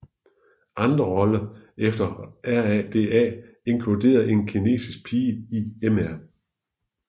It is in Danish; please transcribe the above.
Andre roller efter RADA inkluderede en kinesisk pige i Mr